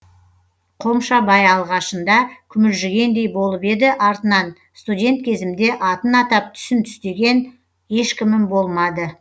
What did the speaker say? қомшабай алғашында күмілжігендей болып еді артынан студент кезімде атын атап түсін түстеген ешкімім болмады